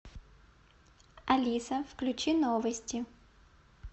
алиса включи новости